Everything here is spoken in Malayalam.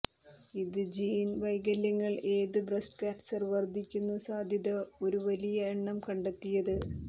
ഇത് ജീൻ വൈകല്യങ്ങൾ ഏത് ബ്രെസ്റ്റ് കാൻസർ വർദ്ധിക്കുന്നു സാധ്യത ഒരു വലിയ എണ്ണം കണ്ടെത്തിയത്